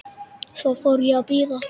Svo fór ég að bíða.